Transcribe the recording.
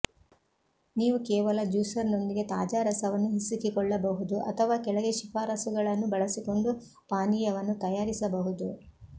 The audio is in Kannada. ನೀವು ಕೇವಲ ಜ್ಯೂಸರ್ನೊಂದಿಗೆ ತಾಜಾ ರಸವನ್ನು ಹಿಸುಕಿಕೊಳ್ಳಬಹುದು ಅಥವಾ ಕೆಳಗೆ ಶಿಫಾರಸುಗಳನ್ನು ಬಳಸಿಕೊಂಡು ಪಾನೀಯವನ್ನು ತಯಾರಿಸಬಹುದು